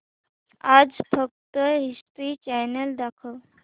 आज फक्त History Channel दाखव